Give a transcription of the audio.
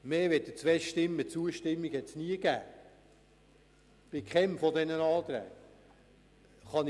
Mehr als zwei zustimmende Stimmen gab es bei keinem dieser Anträge.